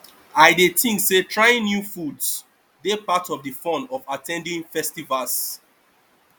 i dey think say trying new foods dey part of di fun of at ten ding festivals